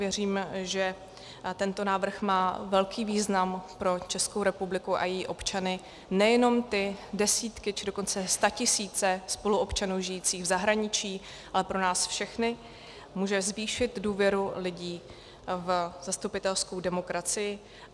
Věřím, že tento návrh má velký význam pro Českou republiku a její občany, nejenom ty desítky a dokonce statisíce spoluobčanů žijících v zahraničí, ale pro nás všechny, může zvýšit důvěru lidí v zastupitelskou demokracii.